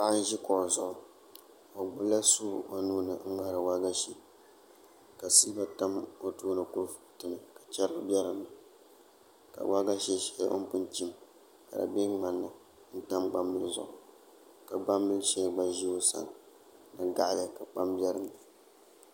Paɣa n ʒi kuɣu zuɣu o gbunila suu o nuuni n ŋmahari waagashe ka siba tam o tooni kurifooti ni ka chɛrigi bɛ dinni ka waagashe shɛli bin pun chim ka di bɛ ŋmani ni n tam gbambili zuɣu ka gbambili shɛli gba ʒi o sani ni gaɣali ka kpam bɛ dinni